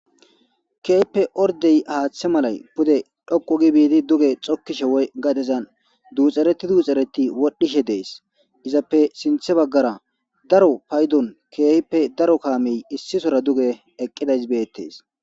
keehppe ordey haaththe malay pude dhoqu gi biidi duge xokishe woy gadezan duuxereti duuxereti wodhishe dees izappe sinthe baggara daro paydon keehippe daro kaamey issisora duge eqqidays beettes